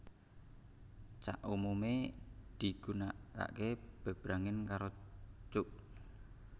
Cak umumé digunakaké bebrangen karo cuk